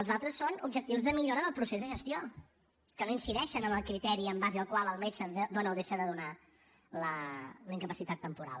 els altres són objectius de millora del procés de gestió que no incideixen en el criteri en base al qual el metge dona o deixa de donar la incapacitat temporal